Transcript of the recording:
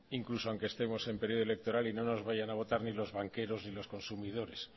incluso aunque estemos en periodo electoral y no nos vaya a votar ni los banqueros ni los consumidores